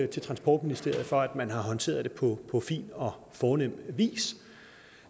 til transportministeriet for at man har håndteret det på fin og fornem vis